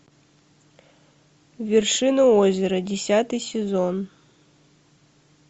вершина озера десятый сезон